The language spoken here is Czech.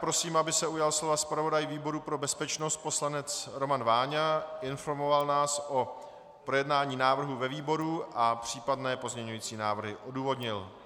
Prosím, aby se ujal slova zpravodaj výboru pro bezpečnost poslanec Roman Váňa, informoval nás o projednání návrhu ve výboru a případné pozměňující návrhy odůvodnil.